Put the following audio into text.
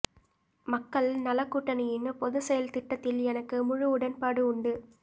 மக்கள் நலக் கூட்டணியின் பொதுச்செயல் திட்டத்தில் எனக்கு முழு உடன்பாடு உண்டு